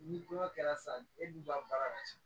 Ni kɔɲɔ kɛra sisan e b'u ban baara la ten